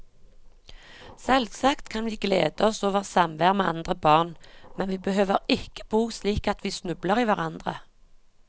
Selvsagt kan vi glede oss over samvær med andre barn, men vi behøver ikke bo slik at vi snubler i hverandre.